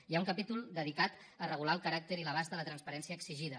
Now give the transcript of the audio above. hi ha un capítol dedicat a regular el caràcter i l’abast de la transparència exigida